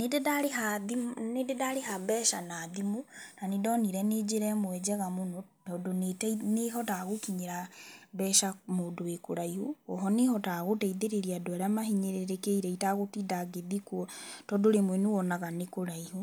Nĩ ndĩ ndarĩha mbeca na thimũ na nĩ ndonire nĩ njĩra ĩmwe njega mũno tondũ nĩ ĩhotaga gũkinyĩra mbeca mũndũ wĩkũraihu, oho nĩ ĩhotaga gũteithĩrĩria andũ arĩa mahinyĩrĩrĩkĩire itegũtinda ngĩthiĩ kuo tondũ rĩmwe nĩ wonaga nĩ kũraihu.